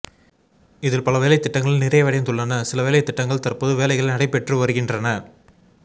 இதில் பல வேலைத்திட்டங்கள் நிறைவடைந்துள்ளன சில வேலைத்திட்டங்கள் தற்போது வேலைகள் நடைபெற்று வருகின்றன